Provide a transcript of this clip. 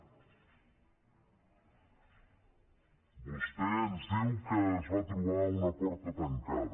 vostè ens diu que es va trobar una porta tancada